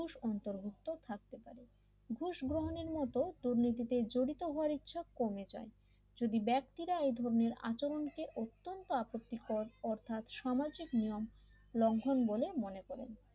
অন্তর্ভুক্ত থাকতে পারে ঘুষ ভোমনির মতো দুর্নীতিতে জড়িত হওয়ার কমে যায় যদি ব্যক্তিরা এ ধরনের আচরণকে অত্যন্ত আপত্তিকার অর্থাৎ সামাজিক নিয়ম লঙ্ঘন বলে মনে করেন।